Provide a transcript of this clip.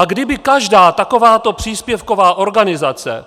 A kdyby každá takováto příspěvková organizace